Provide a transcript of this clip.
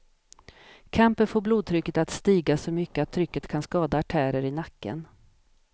Kampen får blodtrycket att stiga så mycket att trycket kan skada artärer i nacken.